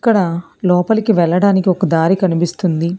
ఇక్కడ లోపలికి వెళ్లడానికి ఒక దారి కనిపిస్తుంది.